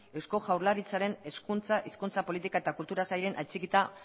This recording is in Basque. eusko jaurlaritzaren hezkuntza hizkuntza politika eta kultura sailean atxikita